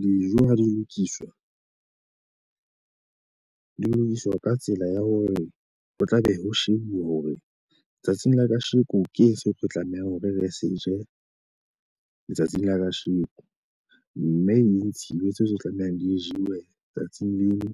Dijo ha di lokiswa, di lokiswa ka tsela ya hore ho tlabe ho shebuwa hore tsatsing la kasheko keng seo re tlamehang hore re se tje letsatsing la kasheko. Mme Isiwe tseo tlamehang di jewe tsatsing leno.